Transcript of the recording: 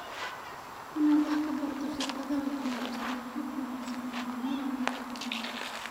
Inaad wax ka barato shirkadaha guulaysta waa hab wanaagsan oo horumar lagu gaadho.